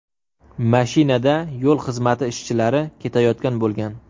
Mashinada yo‘l xizmati ishchilari ketayotgan bo‘lgan.